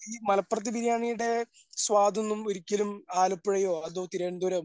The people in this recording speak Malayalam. ഈ മലപ്പുറത്തെ ബിരിയാണിടെ സ്വാദ് ഒന്നും ഒരിക്കലും ആലപ്പുഴയോ അതോ തിരുവനന്തപുരം